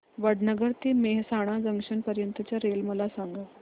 वडनगर ते मेहसाणा जंक्शन पर्यंत च्या रेल्वे मला सांगा